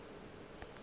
le ye nngwe yeo e